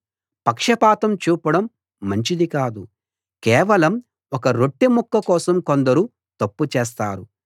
పక్షపాతం చూపడం మంచిది కాదు కేవలం ఒక్క రొట్టెముక్క కోసం కొందరు తప్పు చేస్తారు